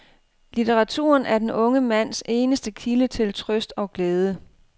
Litteraturen er den unge mands eneste kilde til trøst og glæde.